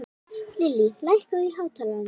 Lillý, lækkaðu í hátalaranum.